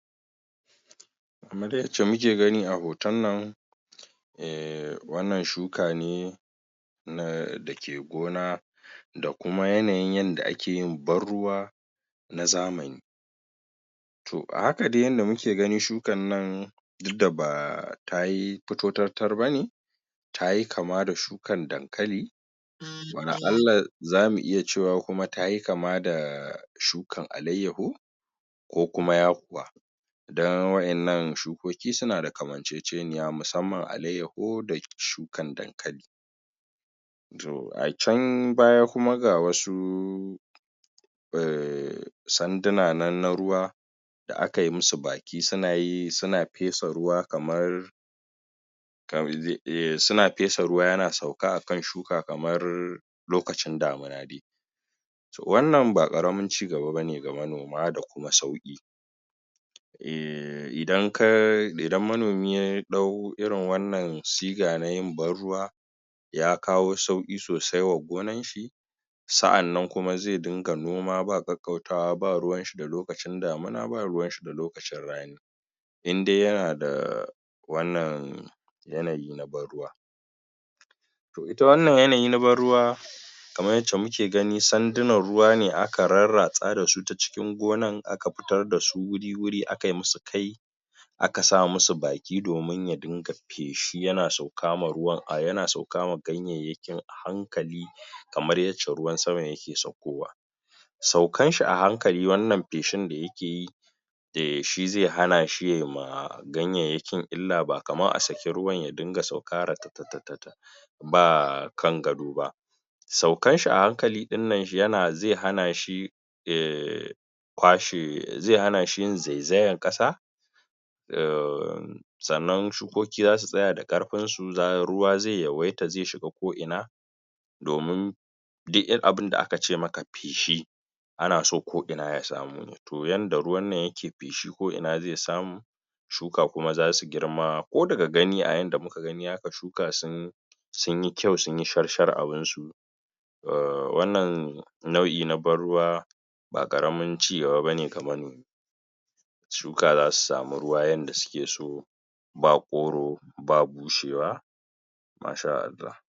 Kaman dai yacce muke gani a hoton nan eh wannan shuka ne na dake gona da kuma yanayin yanda ake yin ban ruwa na zamani to a haka dai yadda muke ganin shukan nan duk da ba tayi fito tatar bane tayi kama da shukan dankali wala allah zamu iya cewa kuma tayi kama da shukan alayyaho ko kuma yakuwa dan waƴannan shukoki suna da kamanceceniya musamman alayyaho da shukan dankali to a can baya kuma ga wasu eh sanduna nan da ruwa da akai musu baki suna yi suna fetsa ruwa kamar eh ze iya, suna fetsa ruwa yana sauka akan shuka kamar lokacin damina dai to wannan ba ƙaramin cigaba bane ga manoma da kuma sauƙi idan ka, idan manomi ya ɗau irin wannan siga na yin ban ruwa ya kawo sauƙi sosai wa gonan shi sa'annan kuma zai dinga noma ba ƙaƙƙautawa ba ruwan shi da lokacin damina, ba ruwan shi da lokacin rani in de yana da wannan yanayi na ban ruwa to ita wannan yanayi na ban ruwa kamar wancan muke gani sandunan ruwa ne aka rarratsa da su ta cikin gonan aka fitar da su wuri-wuri akai musu kai aka sa musu baki domin ya dinga feshi yana sauka ma ruwan a, yana sauka ma ganyayyakin a hankali kamar yacce ruwan sama yake saukowa saukan shi a hankali wannan feshin da yake yi eh, shi ze hana shi ya ma ganyayyakin illa ba kaman a saki ruwan ya dinga sauka ratatatata ba kan gado ba saukan shi a hankali ɗin nan yana ze hana shi eh kwashe ze hana shi yin zaizayan ƙasa sannan shukoki zasu tsaya da ƙarfin su ruwa ze yawaita ze shiga ko'ina domin duk abinda aka ce maka feshi ana so ko'ina ya samu to yanda ruwan nan yake feshi ko'ina ze samu shuka kuma zasu girma ko daga gani a yanda kuka gani aka shuka sun sun yi kyau, sun yi sharshar abin su wannan nau'i na ban ruwa ba ƙaramin cigaba bane ga manomi shuka zasu samu ruwa yanda suke so ba ƙoro ba bushewa masha Allah.